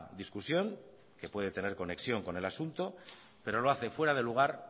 discusión que puede tener conexión con el asunto pero lo hace fuera de lugar